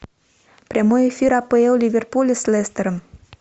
прямой эфир апл ливерпуля с лестером